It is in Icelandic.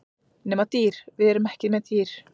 Nema dýr, við erum ekki með dýr.